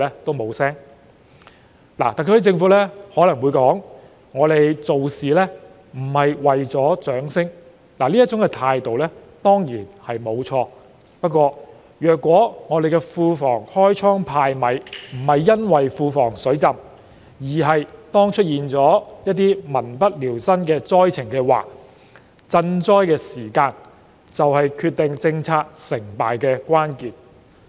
特區政府可能會說，我們做事並非為了掌聲，這種態度固然沒錯，但如果香港庫房開倉派米不是因為庫房"水浸"，而是出現了民不聊生的災情，那麼賑災的時間便是決定政策成敗的關鍵。